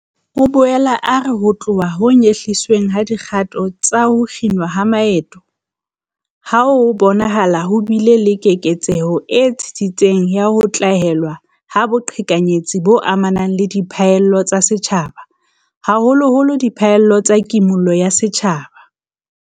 O boela a re ho tloha ho nyehlisweng ha dikgato tsa ho kginwa ha maeto, ho bonahala ho bile le keketseho e tsitsitseng ya ho tlalewa ha boqhekanyetsi bo amanang le diphallelo tsa setjhaba, haholoholo diphallelo tsa Kimollo ya Setjhaba.